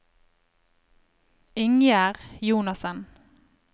Ingjerd Jonassen